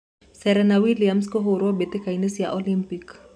Serena Williams kũhũrũo mbĩtĩka-inĩ cia Olympic